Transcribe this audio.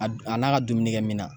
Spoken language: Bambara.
A n'a ka dumuni kɛ minan.